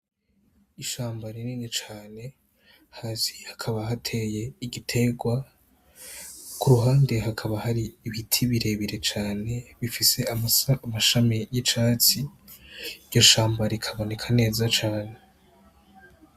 Ishamba rinini cane hasi hakaba hateye igiterwa ku ruhande hakaba hari ibiti birebire cane bifise amashami y'icatsi iryo shamba rikaboneka neza cane.